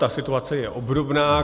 Ta situace je obdobná.